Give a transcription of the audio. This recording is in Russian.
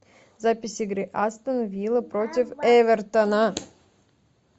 запись игры астон вилла против эвертона